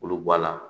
K'olu bɔ a la